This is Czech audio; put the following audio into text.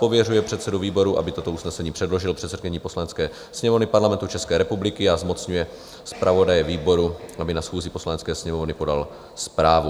Pověřuje předsedu výboru, aby toto usnesení předložil předsedkyni Poslanecké sněmovny Parlamentu České republiky, a zmocňuje zpravodaje výboru, aby na schůzi Poslanecké sněmovny podal zprávu."